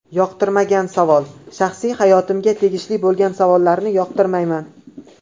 Yoqtirmagan savol Shaxsiy hayotimga tegishli bo‘lgan savollarni yoqtirmayman.